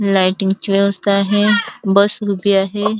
लाइटिंगची व्यवस्था आहे बस उभी आहे.